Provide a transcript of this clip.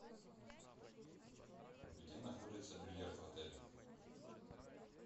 где находится бильярд в отеле